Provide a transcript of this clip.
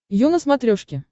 ю на смотрешке